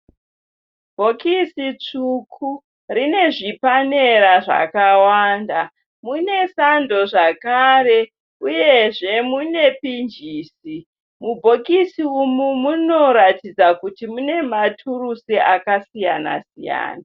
Bhokisi tsvuku rine zvipanera zvakawanda. Mune sando zvakare uyezve mune pinjisi. Mubhokisi umu munoratidza kuti mune maturusi akasiyana siyana.